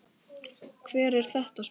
Hver er þetta, spurði hann.